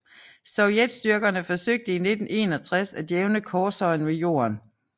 Sovjetstyrkerne forsøgte i 1961 at jævne korshøjen med jorden